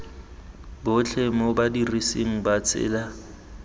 botlhe mo badirisi ba tsela